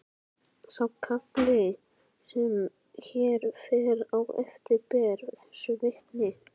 Sá kafli sem hér fer á eftir ber þessu vitni: